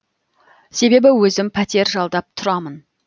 себебі өзім пәтер жалдап тұрамын